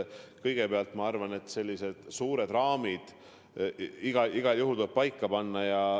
Kõigepealt ma arvan, et sellised suured raamid igal juhul tuleb paika panna.